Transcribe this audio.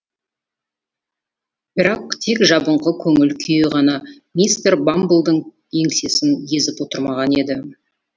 бірақ тек жабыңқы көңіл күйі ғана мистер бамблдың еңсесін езіп отырмаған еді